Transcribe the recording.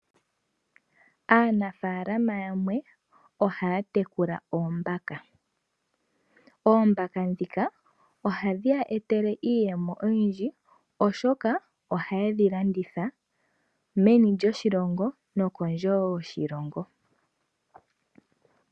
Aanafaalama yamwe ohaya tekula oombaka. Oombaka ihadhi ya etele iiyemo oyindji oshoka oha ye dhi landitha meni lyoshilongo nokondje yoshilongo.